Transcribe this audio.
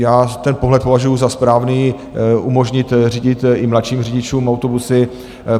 Já ten pohled považuju za správný, umožnit řídit i mladším řidičům autobusy.